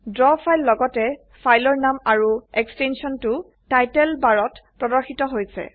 draw file লগতে ফাইলৰ নাম আৰু এক্সটেনশনটো টাইটেল বাৰত প্ৰৰ্দশিত হৈছে